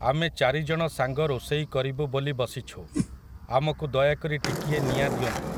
ଆମେ ଚାରିଜଣ ସାଙ୍ଗ ରୋଷେଇ କରିବୁ ବୋଲି ବସିଛୁ, ଆମକୁ ଦୟାକରି ଟିକିଏ ନିଆଁ ଦିଅନ୍ତୁ ।